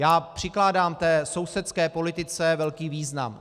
Já přikládám té sousedské politice velký význam.